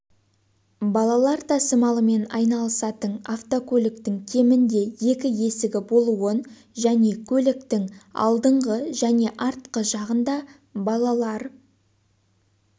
балалар тасымалымен айналысатын автокөліктің кемінде екі есігі болуын және көліктің алдыңғы және артқы жағында балалар